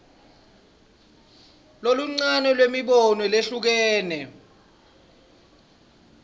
loluncane lwemibono lehlukene